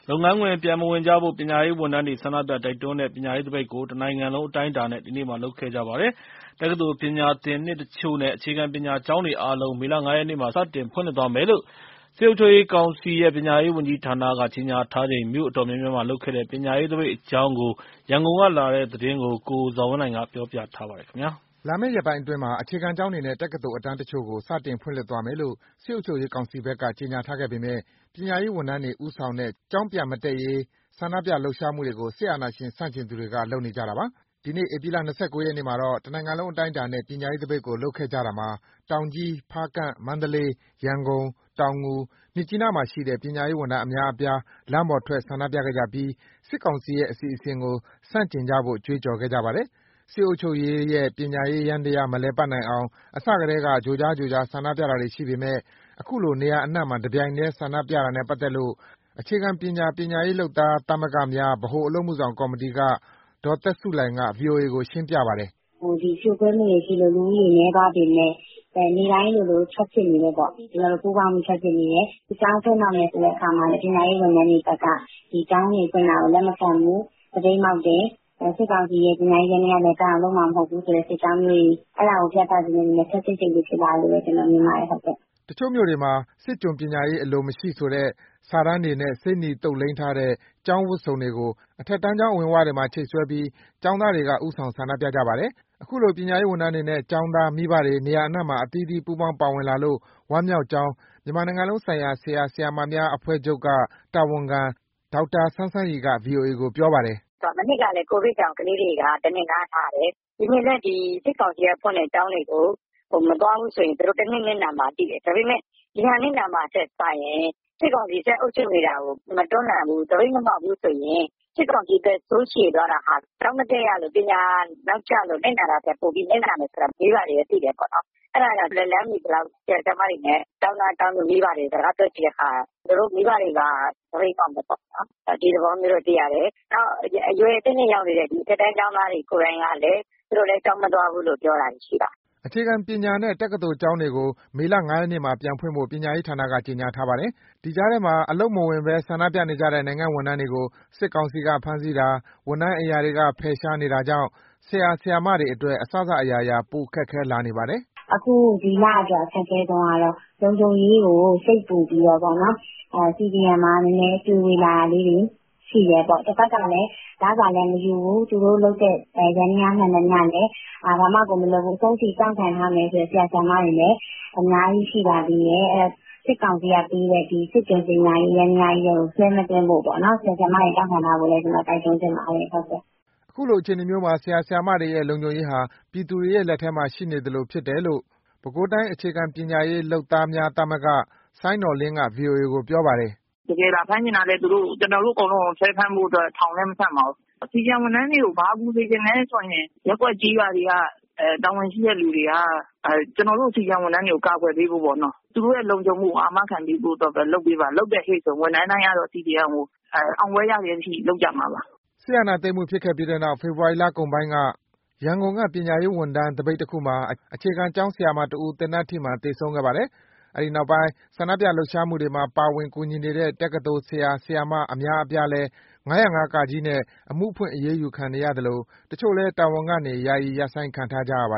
လုပ်ငန်းခွင် ပြန်မဝင်ကြဖို့ ပညာရေးဝန်ထမ်းတွေ ဆန္ဒပြ တိုက်တွန်းတဲ့ ပညာရေးသပိတ်ကို တနိုင်ငံလုံး အတိုင်းအတာနဲ့ ဒီနေ့လုပ်ခဲ့ကြပါတယ်။ တက္ကသိုလ်ပညာသင်နှစ်တချို့နဲ့ အခြေခံပညာကျောင်းတွေအားလုံးကို မေလ ၅ ရက်မှာ စတင်ဖွင့်လှစ်သွားမယ်လို့ စစ်အုပ်ချုပ်ရေးကောင်စီရဲ့ ပညာရေးဝန်ကြီးဌာနက ကြေညာထားချိန် မြို့အတော်များများမှာလုပ်ခဲ့တဲ့ ပညာရေးသပိတ်အကြောင်း ရန်ကုန်ကလာတဲ့သတင်းကို ကိုဇော်ဝင်းလှိုင်က ပြောပြထားပါတယ်။ လာမယ့်ရက်ပိုင်းအတွင်းမှာ အခြေခံကျောင်းတွေနဲ့ တက္ကသိုလ်အတန်းတချို့ကို စတင်ဖွင့်လှစ်သွားမယ်လို့ စစ်အုပ်ချုပ်ရေးကောင်စီဘက်က ကြေညာထားပေမဲ့ ပညာရေးဝန်ထမ်းတွေ ဦးဆောင်တဲ့ ကျောင်းပြန်မတက်ရေး ဆန္ဒပြလှုပ်ရှားမှုတွေကို စစ်အာဏာရှင်ဆန့်ကျင်သူတွေက လုပ်နေကြတာပါ။ ဒီနေ့ ဧပြီလ ၂၉ ရက်မှာတော့ တနိုင်ငံလုံး အတိုင်းအတာနဲ့ ပညာရေးသပိတ်ကို လုပ်ခဲ့ကြတာမှာ တောင်ကြီး၊ ဖားကန့်၊ မန္တလေး၊ ရန်ကုန်၊ တောင်ငူ၊ မြစ်ကြီးနားမှာရှိတဲ့ ပညာရေးဝန်ထမ်း အများအပြား လမ်းပေါ်ထွက် ဆန္ဒပြခဲ့ကြပြီး စစ်ကောင်စီရဲ့ အစီအစဉ်တွေကို ဆန့်ကျင်ကြဖို့ ကြွေးကြော်ခဲ့ကြပါတယ်။ စစ်အုပ်ချုပ်ရေးရဲ့ ပညာရေးယန္တရား မလည်ပတ်နိုင်အောင် အစကတည်းက ကြိုကြား ကြိုကြား ဆန္ဒပြတာတွေရှိပေမဲ့ အခုလို နေရာအနှံ့မှာ တပြိုင်နက်တည်း ဆန္ဒပြတာနဲ့ပတ်သက်လို့ အခြေခံပညာ ပညာရေးလုပ်သားသမဂ္ဂများ ဗဟိုအလုပ်အမှုဆောင်ကော်မတီက ဒေါ်သက်ဆုလှိုင်က ဗွီအိုအေကို ရှင်းပြပါတယ်။ “ဖြိုခွဲမှုတွေရှိလို့ လူဦးရေနည်းသွားပေမဲ့ နေ့တိုင်းလိုလို ထွက်ဖြစ်နေတယ်ပေါ့။ ကျနော်တို့ ပူးပေါင်းပြီး ထွက်ဖြစ်နေတယ်။ ကျောင်းဖွင့်တော့မယ်ဆိုတဲ့ အခါမှာလည်း ပညာရေးဝန်ထမ်းတွေဘက်က ဒီကျောင်းတွေဖွင့်တာကို လက်မခံဘူး။ သပိတ်မှောက်တယ်။ စစ်ကောင်စီရဲ့ ပညာရေးယန္တရား လည်ပတ်အောင်လုပ်မှာ မဟုတ်ဘူးဆိုတဲ့ စစ်ကြောင်းမျိုးတွေ၊ အဲဒါကို ပြသချင်တဲ့အတွက် ခပ်စိတ်စိတ် ဖြစ်လာတယ်လို့ ကျနော်မြင်ပါတယ်။” တချို့မြို့နယ်တွေမှာ စစ်ကျွန်ပညာရေး အလိုမရှိဆိုတဲ့ စာတမ်းတွေနဲ့ ဆေးနီသုတ်လိမ်းထားတဲ့ ကျောင်းဝတ်စုံတွေကို အထက်တန်းကျောင်း အဝင်ဝတွေမှာ ချိတ်ဆွဲပြီး ကျောင်းသားတွေက ဦးဆောင်ဆန္ဒပြကြပါတယ်။ အခုလို ပညာရေးဝန်ထမ်းတွေနဲ့ ကျောင်းသား၊ မိဘတွေ နေရာအနှံ့မှာ အသီးသီး ပူးပေါင်း ပါဝင်လာလို့ ဝမ်းမြောက်ကြောင်း မြန်မာနိုင်ငံလုံးဆိုင်ရာ ဆရာ၊ ဆရာမများအဖွဲ့ချုပ်က တာဝန်ခံ ဒေါက်တာစန်းစန်းရီက ဗွီအိုအေကို ပြောပါတယ်။ “မနှစ်ကလည်း COVID ကြောင့် ကလေးတွေက တနှစ်နားထားတယ်။ ဒီနှစ်လည်း စစ်ကောင်စီက ဖွင့်တဲ့ကျောင်းတွေကို မသွားဘူးဆိုရင် သူတို့တနှစ် နစ်နာမှာ သိတယ်။ ဒါပေမဲ့ ဒီဟာနစ်နာမှာထက်စာရင် စစ်ကောင်စီအုပ်ချုပ်နေတာကို မတွန်းလှန်ဘူး။ သပိတ်မမှောက်ဘူးဆိုရင် စစ်ကောင်စီ သက်ဆိုးရှည်သွားတာဟာ ကျောင်းမတက်ရလို့ ပညာနောက်ကျလို့ နစ်နာတာထက် ပိုပြီးနစ်နာမယ်ဆိုတာ မိဘတွေက သိတယ်။ အဲဒါကြောင့် လက်လှမ်းမီသလောက် ဆရာ၊ ဆရာမတွေ၊ ကျောင်းသား ကျောင်းသူ မိဘတွေကို စကားပြောကြည့်တဲ့အခါ မိဘတွေက သပိတ်မှောက်မယ်ပေါ့။ ဒီသဘောမျိုး သိရတယ်။ နောက် အရွယ်အသင့်အတင့် ရောက်နေတဲ့ အထက်တန်း ကျောင်းသားတွေ ကိုယ်တိုင်ကလည်း သူတို့လည်း ကျောင်းမသွားဘူးလို့ ပြောတာတွေ ရှိပါတယ်။” အခြေခံပညာနဲ့ တက္ကသိုလ်ကျောင်းတွေကို မေလ ၅ ရက်နေ့မှာ ပြန်ဖွင့်ဖို့ ပညာရေးဌာနက ကြေညာထားပါတယ်။ ဒီကြားထဲမှာ အလုပ်ခွင်မဝင်ဘဲ ဆန္ဒပြနေတဲ့ နိုင်ငံ့ဝန်ထမ်းတွေကို စစ်ကောင်စီက ဖမ်းဆီးတာ၊ ဝန်ထမ်းအိမ်ရာတွေက ဖယ်ရှားနေတာကြောင့် ဆရာ၊ ဆရာမတွေအတွက် အစစအရာရာ ပိုမိုခက်ခဲလာနေပါတယ်။ “ဒီလအတွက် အခက်အခဲဆုံးကတော့ လုံခြုံရေးကိုစိတ်ပူပြီးတော့ CDM မှာနည်းနည်း တွေဝေလာတာလေးတွေ ရှိတယ်ပေါ့။ တဘက်ကလည်း လစာလည်းမယူဘူး။ သူတို့လုပ်တဲ့ ယန္တရားမှန်သမျှလည်း ဘာမှမလုပ်ဘူး။ အဆုံးထိ တောင့်ခံထားမယ်ဆိုတဲ့ ဆရာ၊ ဆရာမတွေလည်း အများကြီး ရှိပါသေးတယ်။ အဲဒီတော့ စစ်ကောင်စီကပေးတဲ့ စစ်ကျွန်ပညာရေး ယန္တရားကြီးထဲကို ဆွဲမသွင်းဖို့ ဆရာ၊ ဆရာမတွေ တောင့်ခံထားဖို့ တိုက်တွန်းချင်ပါတယ်။” အခုအခြေအနေမျိုးမှာ ဆရာ၊ ဆရာမတွေရဲ့ လုံခြုံရေးဟာ ပြည်သူတွေရဲ့ လက်ထဲမှာရှိနေသလိုဖြစ်တယ်လို့ ပဲခူးတိုင်း အခြေခံပညာရေး လုပ်သားများသမဂ္ဂက စိုင်းနော်လင်းက ဗွီအိုအေကို ပြောပါတယ်။ “တကယ်လာဖမ်းချင်လည်း သူတို့ ကျနော်တို့အကုန်လုံးကို ဆွဲဖမ်းဖို့ ထောင်လည်း မဆံ့ပါဘူး။ CDM ဝန်ထမ်းတွေကို ဘာကူညီစေချင်လဲဆိုရင် ရပ်ကွက်၊ ကျေးရွာတွေက တာဝန်ရှိတဲ့သူတွေက ကျနော်တို့ CDM ဝန်ထမ်းတွေကို ကာကွယ်ပေးဖို့ပေါ့နော်၊ သူတို့ရဲ့ လုံခြုံရေးကို အာမခံပေးဖို့ပဲ လုပ်ပေးပါ။ လုပ်တယ်ဟေ့ဆိုရင် ဝန်ထမ်းတိုင်းက CDM ကို အောင်ပွဲရတဲ့အထိ လုပ်ကြမှာပါ။” စစ်အာဏာသိမ်းမှုဖြစ်ခဲ့ပြီးနောက် ဖေဖော်ဝါရီလကုန်ပိုင်းက ရန်ကုန်က ပညာရေးဝန်ထမ်း သပိတ်တခုမှာ အခြေခံကျောင်းဆရာမတဦး သေနတ်ထိမှန် သေဆုံးခဲ့ပါတယ်။ အဲဒီနောက်ပိုင်း ဆန္ဒပြလှုပ်ရှားမှုတွေမှာ ပါဝင်၊ ကူညီနေတဲ့ တက္ကသိုလ် ဆရာ၊ ဆရာမ အများအပြားလည်း ၅၀၅ (က) နဲ့ အမှုဖွင့် အရေးယူခံနေရသလို တချို့လည်း တာဝန်ကနေ ယာယီရပ်ဆိုင်းခံထားရပါ